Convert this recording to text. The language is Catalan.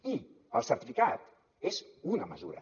i el certificat és una mesura